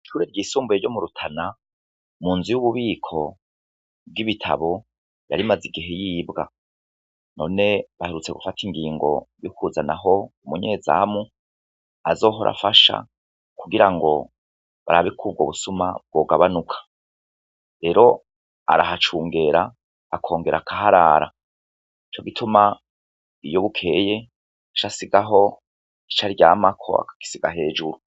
Ishure ryisumbuye ryo mu rutana mu nzu yubububiko bw’ibitabo yari imaze igihe yibwa none bagerutse gufata ingingo yo kuhashira umunyezamo kugirango barber kubwo busuma bwogabanuka rero arahacungera akongera akaharara nico gituma iyo bukeye aca asigaho ico aryamako akagisiga hejuru.